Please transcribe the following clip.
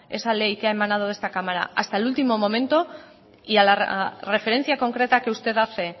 esa ley que ha emanado de esta cámara hasta el último momento y a la referencia concreta que usted hace